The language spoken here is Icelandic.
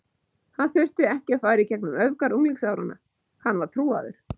Hann þurfti ekki að fara í gegnum öfgar unglingsáranna, hann var trúaður.